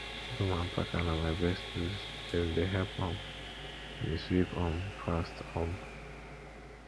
broom and packer na my best tools dem dey help um me sweep um fast um